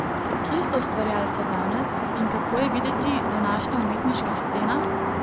Kje sta ustvarjalca danes in kako je videti današnja umetniška scena?